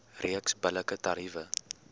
reeks billike tariewe